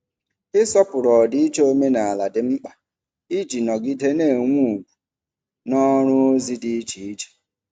Ịsọpụrụ ọdịiche omenala dị mkpa iji nọgide na-enwe ugwu n’ọrụ ozi dị iche iche.